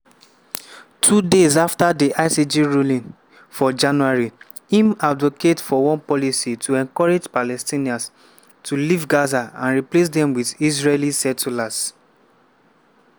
two days afta di icj ruling for january im advocate for one policy to encourage palestinians to leave gaza and replace dem wit israeli settlers.